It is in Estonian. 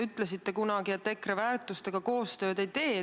Ütlesite kunagi, et EKRE väärtustega te koostööd ei tee.